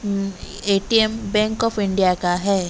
Um A T M bank of India का है।